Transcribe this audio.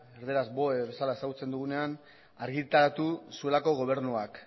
erdaraz boe bezala ezagutzen dugunean argitaratu zuelako gobernuak